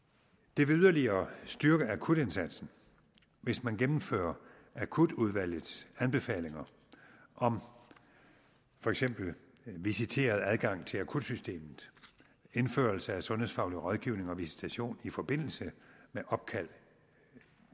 det vil yderligere styrke akutindsatsen hvis man gennemfører akutudvalgets anbefalinger om for eksempel visiteret adgang til akutsystemet indførelse af sundhedsfaglig rådgivning og visitation i forbindelse med opkald